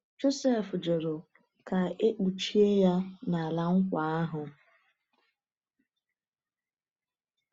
Jọsif jụrụ ka e kpuchie ya n’ala nkwa ahụ.